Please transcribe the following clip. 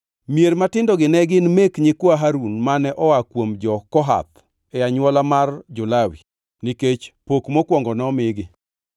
mier matindogi ne gin mek nyikwa Harun mane oa kuom jo-Kohath e anywola mar jo-Lawi, nikech pok mokwongo nomigi.